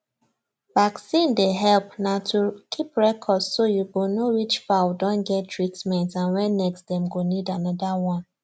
vaccin dey help na to keep record so you go know which fowl don get treatment and when next dem go need another one